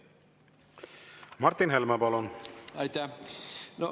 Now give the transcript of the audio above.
Martin Helme, palun!